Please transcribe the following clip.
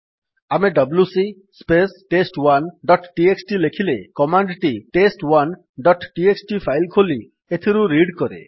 ଆମେ WC space test one dot TXT ଲେଖିଲେ command ଟି ଟେଷ୍ଟ1 ଡଟ୍ ଟିଏକ୍ସଟି ଫାଇଲ୍ ଖୋଲି ଏଥିରୁ ରିଡ୍ କରେ